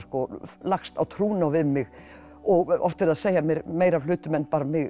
lagst á trúnó við mig og oft verið að segja við mig meira af hlutum en mig